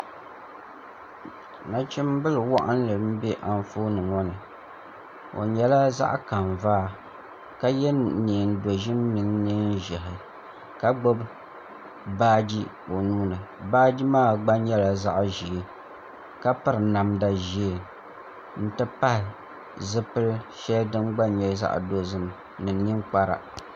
Nachimbili waɣanli n bɛ Anfooni ŋo ni o nyɛla zaɣ kanvaa ka yɛ neen dozim mini neen ʒiɛhi ka gbubi baaji o nuuni baaji maa gba nyɛla zaɣ ʒiɛ ka piri namda ʒiɛ n ti pahi zipili shɛli din gba nyɛ zaɣ dozim ni ninkpara